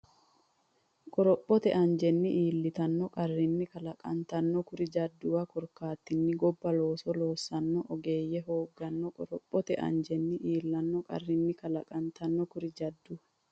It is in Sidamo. Qorophote anjenni iillanno qarrinni kalaqantanno kuri jadduwa korkaatinni gobba looso loossanno ogeeyye hoogganno Qorophote anjenni iillanno qarrinni kalaqantanno kuri jadduwa.